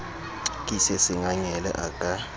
ke se sengangele a ka